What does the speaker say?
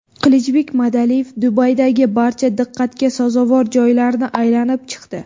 Qilichbek Madaliyev Dubaydagi barcha diqqatga sazovor joylarni aylanib chiqdi.